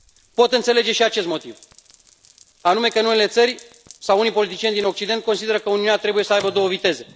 Pot înțelege și acest motiv anume că unele țări sau unii politicieni din Occident consideră că Uniunea trebuie să aibă două viteze.